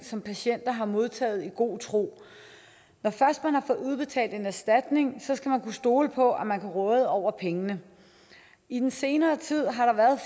som patienter har modtaget i god tro når først man har fået udbetalt en erstatning skal man kunne stole på at man kan råde over pengene i den senere tid har der været